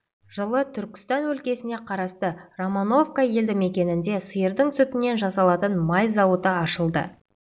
жылы түркістан өлкесіне қарасты романовка елді-мекенінде сиырдың сүтінен жасалатын май зауыты ашылды